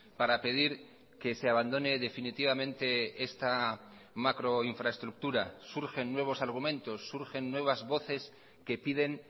para pedir que se abandone definitivamente esta macroinfraestructura surgen nuevos argumentos surgen nuevas voces que piden